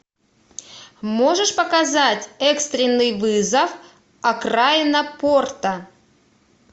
можешь показать экстренный вызов окраина порта